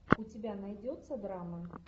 у тебя найдется драма